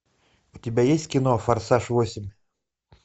у тебя есть кино форсаж восемь